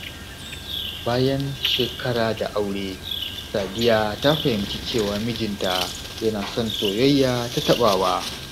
Bayan shekara da aure, Sadiya ta fahimci cewa mijinta yana son soyayya ta taɓawa.